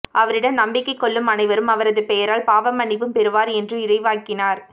அவரிடம் நம்பிக்கை கொள்ளும் அனைவரும் அவரது பெயரால் பாவ மன்னிப்பும் பெறுவர் என்று இறைவாக்கினர்